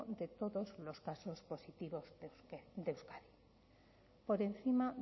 de todos los casos positivos de euskadi por encima